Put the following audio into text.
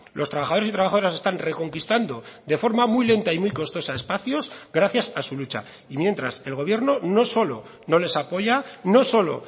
los trabajadores y trabajadoras están reconquistando de forma muy lenta y muy costosa espacios gracias a su lucha y mientras el gobierno no solo no les apoya no solo